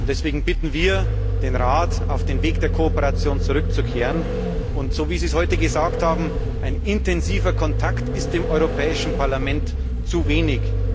Deswegen bitten wir den Rat, auf den Weg der Kooperation zurückzukehren, und so wie Sie es heute gesagt haben ein intensiver Kontakt ist dem Europäischen Parlament zu wenig.